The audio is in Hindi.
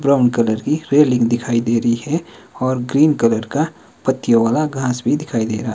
ब्राउन कलर की रेलिंग दिखाई दे रही है और ग्रीन कलर का पत्तियों वाला घास भी दिखाई दे रहा--